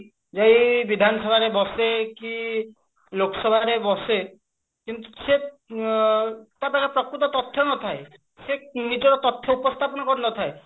ଯାଇ ବିଧାନସଭା ରେ ବସେ କି ଲୋକସଭାରେ ବସେ କିନ୍ତୁ ସେ ତା ପାଖେ ପ୍ରକୃତ ତଥ୍ୟ ନଥାଏ ସେ ନିଜ ତଥ୍ୟ ଉପସ୍ଥାପନ କରି ନଥାଏ